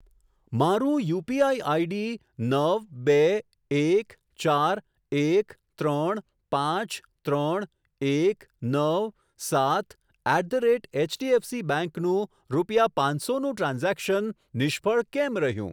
મારું UPI ID નવ બે એક ચાર એક ત્રણ પાંચ ત્રણ એક નવ સાત at the rate HDFC bank નું રૂપિયા પાંચસો નું ટ્રાન્ઝેક્શન નિષ્ફળ કેમ રહ્યું?